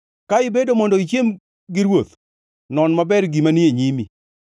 Ka ibedo mondo ichiem gi ruoth, non maber gima ni e nyimi,